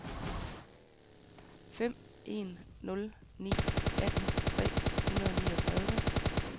fem en nul ni atten tre hundrede og niogtredive